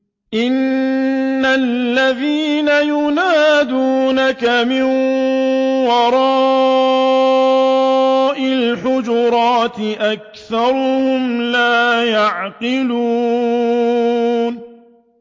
إِنَّ الَّذِينَ يُنَادُونَكَ مِن وَرَاءِ الْحُجُرَاتِ أَكْثَرُهُمْ لَا يَعْقِلُونَ